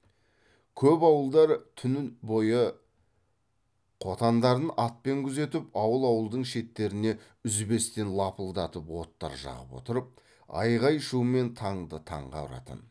көп ауылдар түн бойы қотандарын атпен күзетіп ауыл ауылдың шеттеріне үзбестен лапылдатып оттар жағып отырып айғай шумен таңды таңға ұратын